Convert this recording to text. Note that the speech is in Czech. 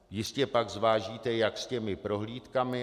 Jistě pak zvážíte, jak s těmi prohlídkami.